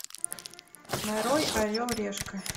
нарой орел решка